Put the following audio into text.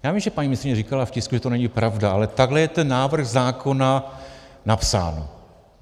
Já vím, že paní ministryně říkala v tisku, že to není pravda, ale takhle je ten návrh zákona napsán.